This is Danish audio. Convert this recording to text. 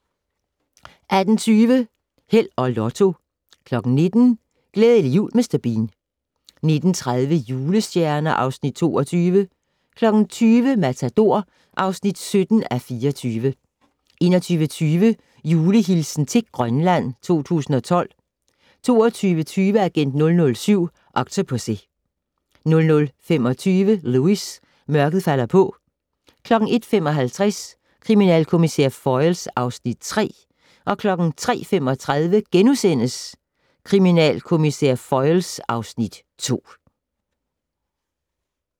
18:20: Held og Lotto 19:00: Glædelig jul Mr. Bean 19:30: Julestjerner (Afs. 22) 20:00: Matador (17:24) 21:20: Julehilsen til Grønland 2012 22:20: Agent 007: Octopussy 00:25: Lewis: Mørket falder på 01:55: Kriminalkommissær Foyle (Afs. 3) 03:35: Kriminalkommissær Foyle (Afs. 2)*